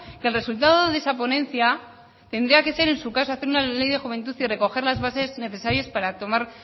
que el resultado de esa ponencia tendría que ser en su caso hacer una ley de juventud y recoger las bases necesarias